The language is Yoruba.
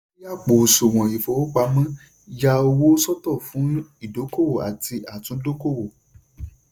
ṣí àpò àsùwọ̀n ìfowópamọ́ ya owó sọ́tọ̀ fún ìdókòwò àti àtúndókòwò.